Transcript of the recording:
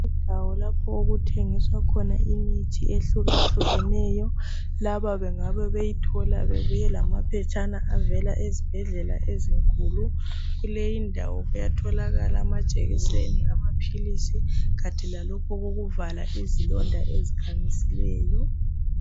Indawo lapho okuthengiswa imithi ehlukahlukeneyo laba bengabe beyithola bebuye lamaphetshana avela ezibhedlela ezinkulu kuleyi ndawo kuyatholakala amajekiseni amaphilisi kathi lalokhu okokuvala izilonda ezikhamisileyo